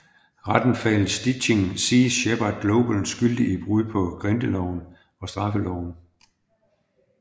Retten fandt Stichting Sea Shepherd Global skyldig i brud på grindeloven og straffeloven